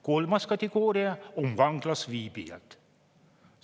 Kolmas kategooria on vanglas viibijad.